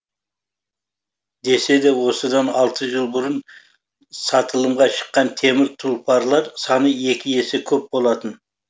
десе де осыдан алты жыл бұрын сатылымға шыққан темір тұлпарлар саны екі есе көп болатын